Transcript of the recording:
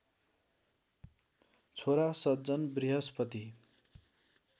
छोरा सज्जन बृहस्पति